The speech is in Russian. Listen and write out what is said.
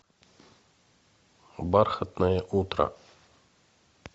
бархатное утро